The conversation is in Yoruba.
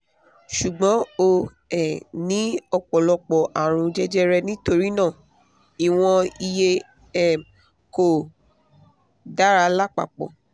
ṣùgbọ́n ó um ní ọ̀pọ̀lọpọ̀ àrùn jẹjẹrẹ nítorí náà ìwọ̀n ìyè um kò dára lápapọ̀